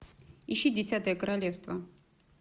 ищи десятое королевство